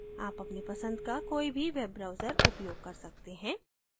आप अपने पसंद के किसी भी web browser का उपयोग कर सकते हैं